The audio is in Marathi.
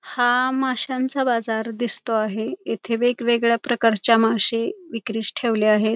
हा माशांचा बाजार दिसतो आहे येथे वेगवेगळ्या प्रकारच्या माशे विक्रीस ठेवले आहेत.